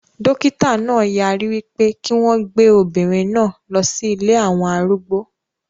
Dókítà náà yarí wípé kí wọn gbé obìnrin náà lọ sí ilée àwọn arúgbó